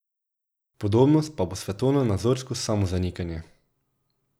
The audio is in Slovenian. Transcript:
Podobnost pa bo svetovnonazorsko samozanikanje.